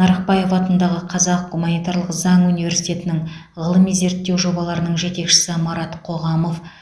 нарықбаев атындағы қазақ гуманитарлық заң университетінің ғылыми зерттеу жобаларының жетекшісі марат қоғамов